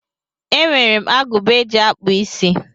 E nwere m agụba eji akpụ isí.